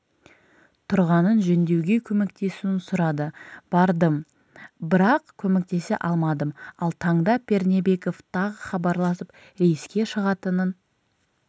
тұрғанын жөндеуге көмектесуін сұрады бардым бірақ көмектесе алмадым ал таңда пернебеков тағы хабарласып рейске шығатынын